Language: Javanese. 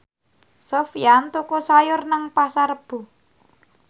Sofyan tuku sayur nang Pasar Rebo